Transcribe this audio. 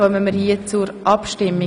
Damit kommen wir zur Abstimmung.